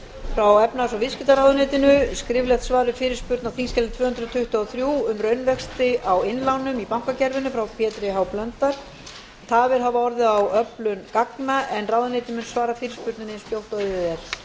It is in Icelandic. frá efnahags og viðskiptaráðuneytinu skriflegt svar við fyrirspurn á þingskjali tvö hundruð tuttugu og þrjú um raunvexti á innlánum í bankakerfinu frá pétri h blöndal tafir hafa orðið á öflun gagna en ráðuneytið mun svara fyrirspurninni eins fljótt og auðið er